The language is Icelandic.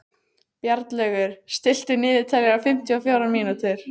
Bjarnlaugur, stilltu niðurteljara á fimmtíu og fjórar mínútur.